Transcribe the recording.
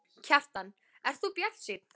Kjartan: Ert þú bjartsýnn?